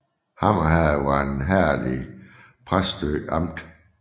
Hammer Herred var et herred i Præstø Amt